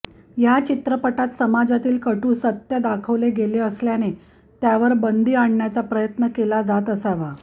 या चित्रपटात समाजातील कटू सत्य दाखवले गेले असल्याने त्यावर बंदी आणण्याचा प्रयत्न केला जात असावा